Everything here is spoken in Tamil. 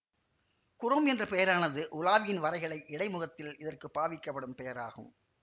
குரோம் என்ற பெயரானது உலாவியின் வரைகலை இடைமுகத்தில் இதற்கு பாவிக்கப்படும் பெயராகும்